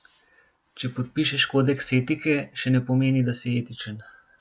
Če podpišeš kodeks etike, še ne pomeni, da si etičen.